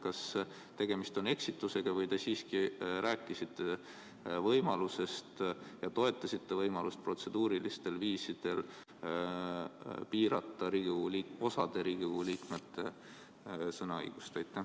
Kas tegemist on eksitusega või te siiski rääkisite võimalusest ja toetasite võimalust protseduurilistel viisidel piirata Riigikogu liikmete sõnaõigust?